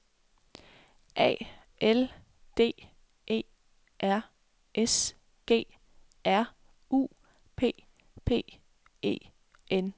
A L D E R S G R U P P E N